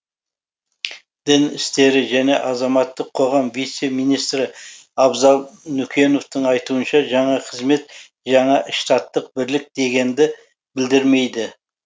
дін істері және азаматтық қоғам вице министрі абзал нүкеновтың айтуынша жаңа қызмет жаңа штаттық бірлік дегенді білдірмейді